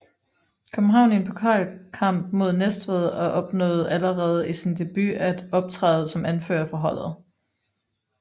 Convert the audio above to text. København i en pokalkamp mod Næstved og opnåede allerede i sin debut at optræde som anfører for holdet